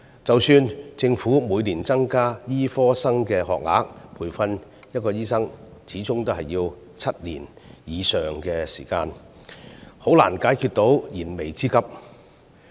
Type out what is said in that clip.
即使政府每年增加醫科學額，但培訓一名醫生始終需要7年以上的時間，難以解決燃眉之急。